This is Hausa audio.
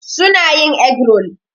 Su na yin egg rol.